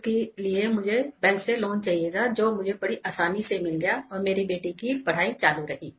जिसके लिए मुझे बैंक से लोआन चाहिए था जो मुझे बड़ी आसानी से मिल गया और मेरी बेटी की पढ़ाई चालू रही